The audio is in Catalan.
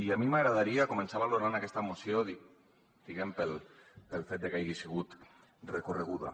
i a mi m’agradaria començar valorant aquesta moció diguem ne pel fet de que hagi sigut recorreguda